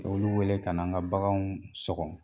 Olu wele ka na an ka baganw sɔgɔ